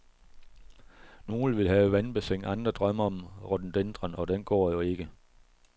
Nogle vil have vandbassin, andre drømmer om rododendron, og den går jo ikke.